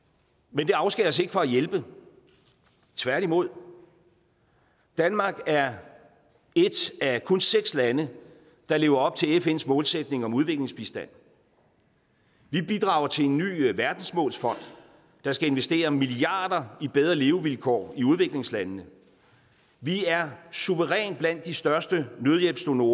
men det afskærer os ikke fra at hjælpe tværtimod danmark er et af kun seks lande der lever op til fns målsætning om udviklingsbistand vi bidrager til en ny verdensmålsfond der skal investere milliarder i bedre levevilkår i udviklingslandene vi er suverænt blandt de største nødhjælpsdonorer